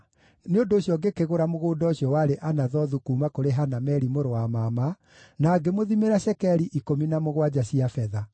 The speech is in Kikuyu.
nĩ ũndũ ũcio ngĩkĩgũra mũgũnda ũcio warĩ Anathothu kuuma kũrĩ Hanameli mũrũ wa mama, na ngĩmũthimĩra cekeri ikũmi na mũgwanja cia betha.